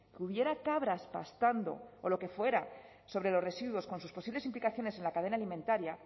que hubiera cabras pastando o lo que fuera sobre los residuos con sus posibles implicaciones en la cadena alimentaria